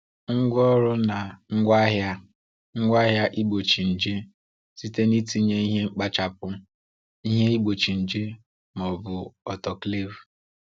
Ngwaọrụ na ngwaahịa ngwaahịa igbochi nje, site n’itinye ihe mkpachapụ, ihe igbochi nje, ma ọ bụ autoclave.